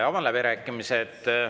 Avan läbirääkimised.